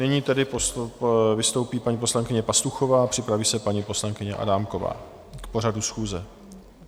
Nyní tedy vystoupí paní poslankyně Pastuchová a připraví se paní poslankyně Adámková - k pořadu schůze.